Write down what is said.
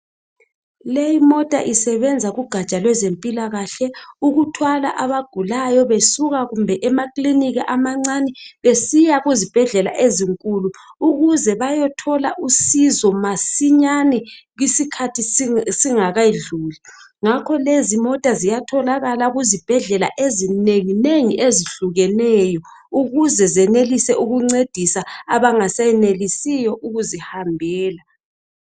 Leyi imota isebenza kugaja lwezempilakahle. Ukuthwala abagulayo besuka kumbe emakilinika amancane. Besiya kuzibhedlela ezinkulu. Ukuze bayethola usizo masinyane. Isikhathi singakedluli. Ngakho lezi imota ziyatholakala kuzibhedlela ezinenginengi, ezihlukeneyo ukuze zincedise abangasenelisiyo ukuzihambela.